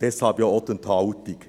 Deshalb ja auch die Enthaltung.